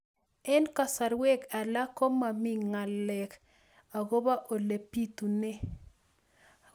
Eng' kasarwek alak ko mami ng'alek akopo ole pitunee